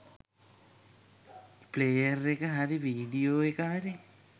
Player එක හරි video එක හරි.